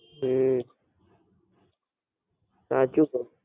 હમ સાચું કહ્યું.